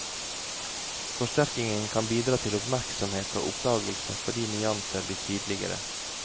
Forsterkningen kan bidra til oppmerksomhet og oppdagelse fordi nyanser blir tydeligere.